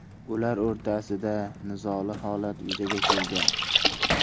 Ular o‘rtasida nizoli holat yuzaga kelgan.